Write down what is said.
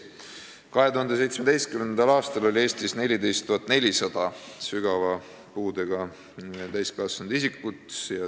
2017. aastal oli Eestis 14 400 sügava puudega täiskasvanut isikut.